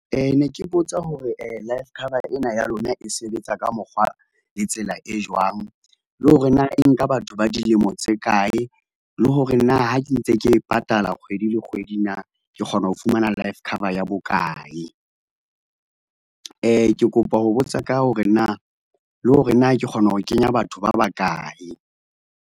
Ne ke botsa hore life cover ena ya lona e sebetsa ka mokgwa le tsela e jwang, le hore na e nka batho ba dilemo tse kae le hore na ha ke ntse ke patala kgwedi le kgwedi na ke kgona ho fumana life cover ya bokae? Ke kopa ho botsa ka hore na le hore na ke kgona ho kenya batho ba bakae?